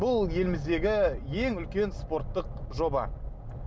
бұл еліміздегі ең үлкен спорттық жоба